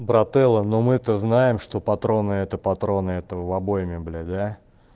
брателло но мы то знаем что патроны это патроны это в обойме блять да